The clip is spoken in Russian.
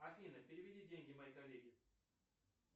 афина переведи деньги моей коллеге